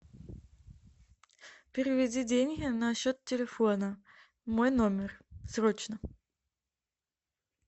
переведи деньги на счет телефона мой номер срочно